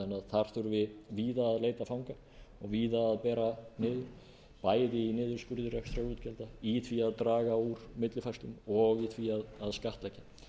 þar þurfi víð að leita fanga og víða að bera niður bæði í niðurskurði rekstrarútgjalda í því að draga úr millifærslum og í því að skattleggja en